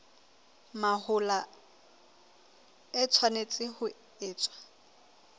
mahola e tshwanetse ho etswa